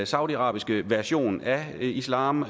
saudiarabiske version af islam